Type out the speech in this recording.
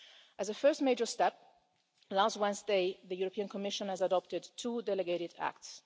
As a first major step, last Wednesday, the European Commission adopted two delegated acts.